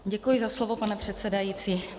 Děkuji za slovo, pane předsedající.